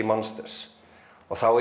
monsters og þá